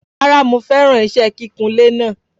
Rárá mo feran ise kíkun ilé naa